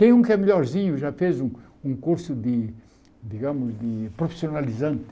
Tem um que é melhorzinho, já fez um um curso de, digamos, de profissionalizante.